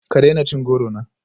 Ka daina cin goro na